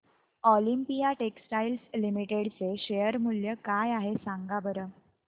Olympia textiles limited चे share मूल्य काय आहे सांगा बरं